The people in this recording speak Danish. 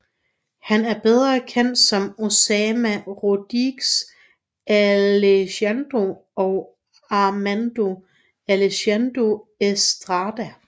Han er bedre kendt som Osama Rodriguez Alejandro og Armando Alejandro Estrada